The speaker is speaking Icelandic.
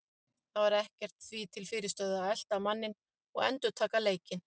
Það var ekkert því til fyrirstöðu að elta manninn og endurtaka leikinn.